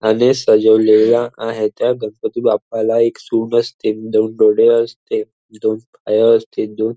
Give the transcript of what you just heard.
आणि सजवलेल्या आहे त्या गणपती बाप्पाला एक सुंड असते दोन डोळे असते दोन पाय असते दोन--